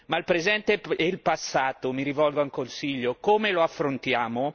Ma il presente e il passato mi rivolgo al Consiglio come lo affrontiamo?